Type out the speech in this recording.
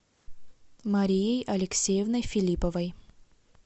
марией алексеевной филипповой